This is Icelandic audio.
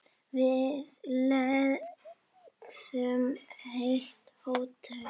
Við leigðum heilt hótel.